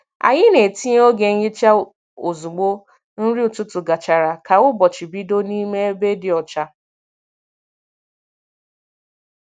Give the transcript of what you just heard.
Anyị na-etinye oge nhicha ozugbo nri ụtụtụ gachara ka ụbọchị bido n’ime ebe dị ọcha.